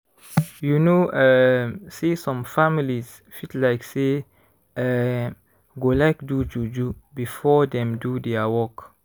you know um say some families fit like say eeh / go like do juju before dem do dia work.